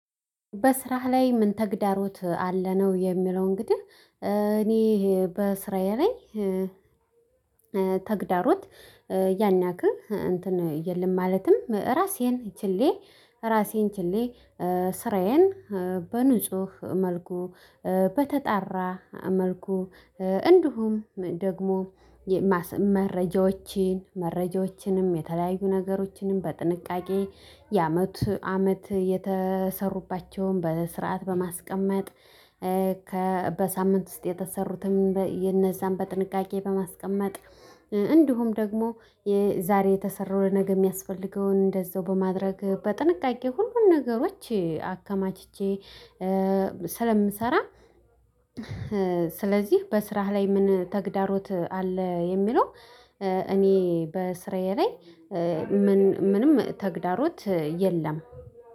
በስራህ ላይ ምን ተግዳሮት አለ? ነው የሚለው እንግዲህ። እኔ በስራዬ ላይ ተግዳሮት ያን ያክህ እንትን የለም። ማለትም ራሴን ችዬ ራሴን ችዬ ስራዬን በንጹህ መልኩ፣ በተጣራ መልኩ፣ እንዲሁም ደግሞ መረጃዎችን መረጃዎችንም የተለያዩ ነገሮችንም በጥንቃቄ የአመት አመት የተሰሩባቸውን በስርዓት በማስቀመጥ በሳምንት ውስጥ የተሰሩትም እነዛን በጥንቃቄ በማስቀመጥ፣ እንዲሁም ደግሞ የዛሬ የተሰራው፣ ለነገ የሚያስፈልገውን እንደዛው በማድረግ በጥንቃቄ ሁሉን ነገሮች አከማችቼ ስለምሰራ ስለዚህ በስራህ ላይ ምን ተግዳሮት አለ የሚለው እኔ በስራዬ ላይ ምንም ተግዳሮት የለም።